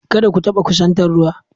Kada ku taɓa kusantar ruwa.